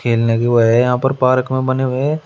लगे हुए हैं यहां पर पार्क में बने हुए है।